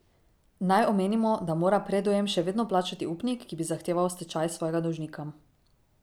Naj omenimo, da mora predujem še vedno plačati upnik, ki bi zahteval stečaj svojega dolžnika.